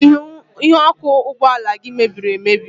Ihu ọkụ ụgbọala gị mebiri emebi.